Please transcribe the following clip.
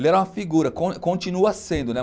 Ele era uma figura, continua sendo, né?